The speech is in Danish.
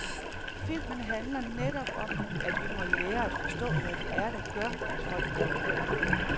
Filmen handler netop om, at vi må lære at forstå, hvad det er, der gør, at folk bruger vold.